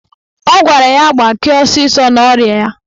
Ọ gwara ya gbakee ọsịsọ n'ọrịa ya.